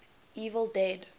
evil dead